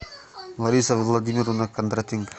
лариса владимировна кондратенко